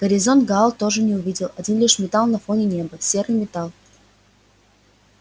горизонта гаал тоже не увидел один лишь металл на фоне неба серый металл